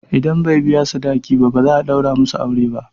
Idan bai biya sadaki ba, ba za a ɗaura musu aure ba.